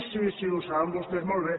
) sí sí ho saben vostès molt bé